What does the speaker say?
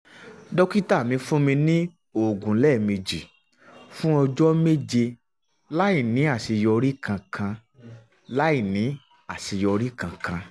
dókítà mi fún mi ní oògùn lẹ́ẹ̀mejì fún ọjọ́ méje láìní àṣeyọrí kankan láìní àṣeyọrí kankan